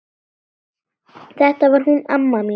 Þetta var hún amma mín.